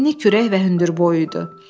Enni kürək və hündür boyuydu.